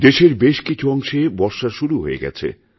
দেশেরবেশ কিছু অংশে বর্ষা শুরু হয়ে গেছে